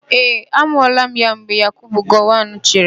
Ee, a mụọla ya mgbe Yakubu Gowọn chịrị.